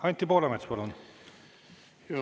Anti Poolamets, palun!